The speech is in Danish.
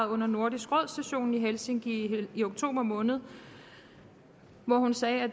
under nordisk råd sessionen i helsinki i oktober måned hvor hun sagde at